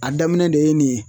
A daminɛ de ye nin ye.